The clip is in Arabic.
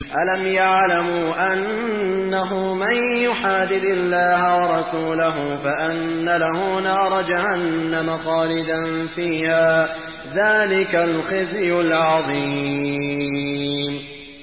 أَلَمْ يَعْلَمُوا أَنَّهُ مَن يُحَادِدِ اللَّهَ وَرَسُولَهُ فَأَنَّ لَهُ نَارَ جَهَنَّمَ خَالِدًا فِيهَا ۚ ذَٰلِكَ الْخِزْيُ الْعَظِيمُ